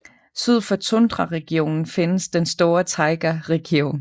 Syd for tundraregionen findes den store taigaregion